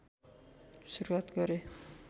सुरुआत गरे